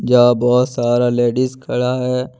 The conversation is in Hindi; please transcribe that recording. यहां बहोत सारा लेडीज खड़ा है।